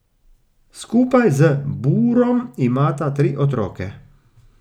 Skupaj z Burom imata tri otroke.